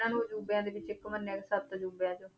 ਇਹਨਾਂ ਨੂੰ ਅਜ਼ੂਬਿਆਂ ਦੇ ਵਿੱਚ ਇੱਕ ਮੰਨਿਆ ਗਿਆ ਸੱਤ ਅਜ਼ੂਬਿਆਂ ਚੋਂ